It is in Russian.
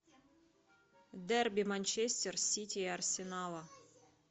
дерби манчестер сити и арсенала